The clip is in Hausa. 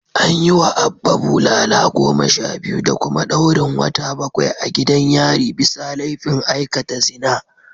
An yiwa Abba bulala goma sha biyu da kuma daurin wata bakwai a gidan yari bisa laifin aikata zina